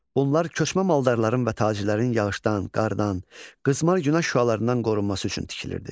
Bunlar köçmə maldarların və tacirlərin yağışdan, qardan, qızmar günəş şüalarından qorunması üçün tikilirdi.